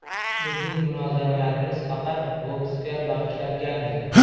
Bizning munozaralarimiz faqat boksga bag‘ishlangandi.